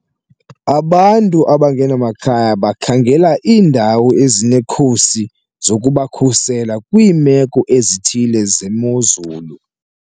Abantu abangenamakhaya bakhangela iindawo ezinekhusi zokubakhusela kwiimeko ezithile zemozulu.